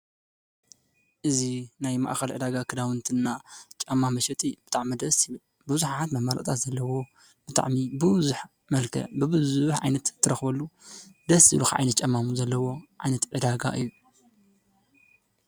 እዚ ናይ ማእከል ዕዳጋ ክዳውንቲ እና ጫማ መሸጢ ብጣዕሚ ደሰ ዝብል ብዙሓት መማረፅታት ዘለዎ ብጣዕሚ ብዙሕ መልክዕ ብብዙሕ ዓይነት እትረክበሉ ደስ ዝብሉካ ዓይነት ጫማ እውን ዘለውዎ ዓይነት ዕዳጋ እዩ፡፡